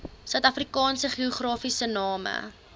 suidafrikaanse geografiese name